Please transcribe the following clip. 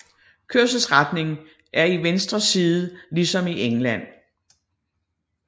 Kørselsretning er i venstre side ligesom i England